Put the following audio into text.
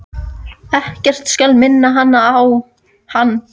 Ekkert skal minna hana á hann.